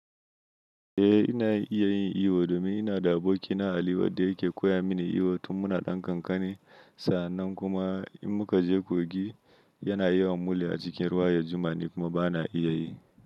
Eh ina iya yin iyo domin ina da aboki na ali wadda yake koya mini iyo tun muna ɗan kankani. Sannan kuma in muka je kogin yana yiwa mule a cikin ruwa ya jima ni kuma bana iya yi.